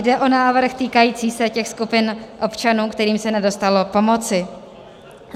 Jde o návrh, týkající se těch skupin občanů, kterým se nedostalo pomoci.